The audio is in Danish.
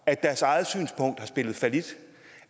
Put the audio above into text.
at deres eget synspunkt har spillet fallit